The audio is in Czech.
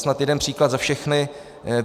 Snad jeden příklad za všechny.